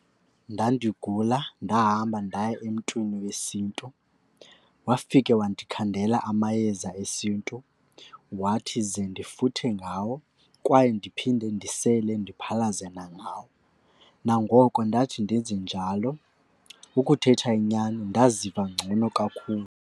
Ndandigula ndahamba ndaya emntwini wesiNtu. Wafike wandikhandela amayeza esiNtu wathi ze ndifuthe ngawo kwaye ndiphinde ndisele ndiphalaze nangawo. Nangoku ndathi ndenze njalo ukuthetha inyani ndaziva ngcono kakhulu.